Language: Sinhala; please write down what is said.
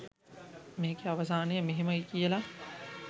මේකෙ අවසානය මෙහෙමයි කියල